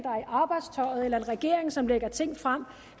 arbejdstøjet eller en regering som lægger ting frem